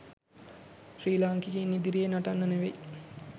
ශ්‍රී ලාංකිකයින් ඉදිරියේ නටන්න නෙවෙයි.